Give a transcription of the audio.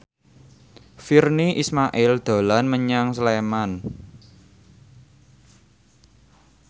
Virnie Ismail dolan menyang Sleman